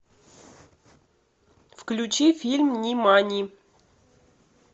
включи фильм нимани